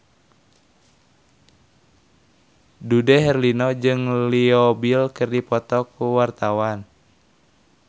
Dude Herlino jeung Leo Bill keur dipoto ku wartawan